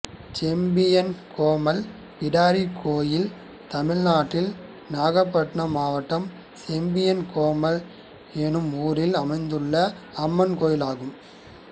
செம்பியன்கோமல் பிடாரி கோயில் தமிழ்நாட்டில் நாகபட்டினம் மாவட்டம் செம்பியன்கோமல் என்னும் ஊரில் அமைந்துள்ள அம்மன் கோயிலாகும்